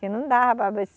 Que não dava para ver.